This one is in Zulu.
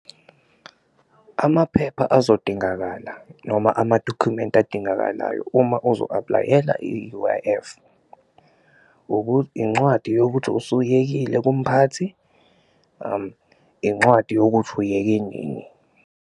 Amaphepha azodingakala noma amadokhumenti adingakalayo uma uzo-apply-ela i-U_I_F, incwadi yokuthi usuyekile kumphathi, incwadi yokuthi uyeke nini.